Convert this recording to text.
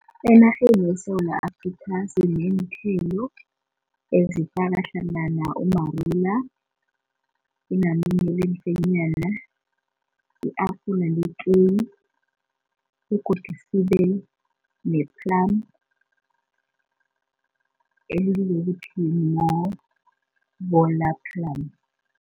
Enarheni yeSewula Afrika sineenthelo ezifaka hlangana umarula, inamune lemfenyana, i-apula letjewu begodu sibe ne-plum elibizwa ukuthi plum.